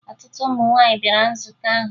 Ọtụtụ ụmụ nwaanyị bịara nzukọ ahụ